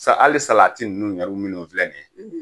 Sa hali salati yɛru ninnu filɛ nin ye